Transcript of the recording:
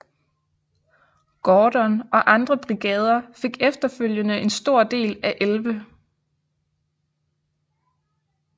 Gordon og andre brigader fik efterfølgede en stor del af 11